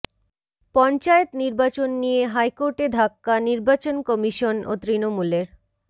পঞ্চায়েত নির্বাচন নিয়ে হাইকোর্টে ধাক্কা নির্বাচন কমিশন ও তৃণমূলের